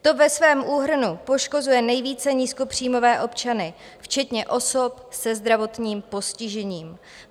To ve svém úhrnu poškozuje nejvíce nízkopříjmové občany, včetně osob se zdravotním postižením.